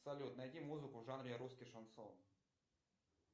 салют найди музыку в жанре русский шансон